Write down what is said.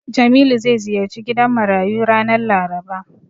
Jamilu zai ziyarci gidan marayu ranar Laraba.